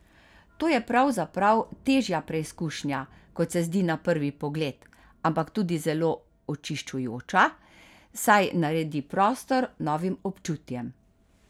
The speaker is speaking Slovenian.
To je pravzaprav težja preizkušnja, kot se zdi na prvi pogled, ampak tudi zelo očiščujoča, saj naredi prostor novim občutjem.